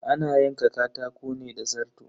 Ana yanka katako ne da zarto.